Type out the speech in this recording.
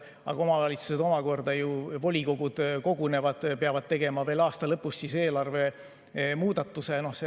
Aga omavalitsuste volikogud ju peavad kogunema ja tegema veel aasta lõpus eelarvemuudatuse.